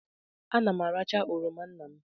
Ana m aracha oroma nna m.